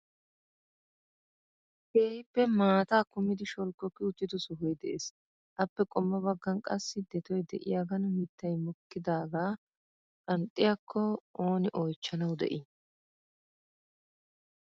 Keehippe maata kummidi sholkokki uttido sohoy de'ees. Appe qommo baggan qassi detoy de'iyaagan mittay mokkidaaga qanxxiyaakko ooni oychchanawu de'ii ?